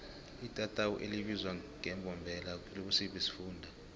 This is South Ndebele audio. itatawu elibizwa ngembombela likusiphi isifunda